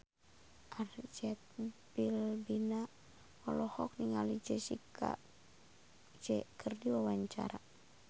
Arzetti Bilbina olohok ningali Jessie J keur diwawancara